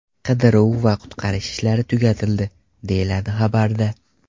Qidiruv va qutqarish ishlari tugatildi”, deyiladi xabarda.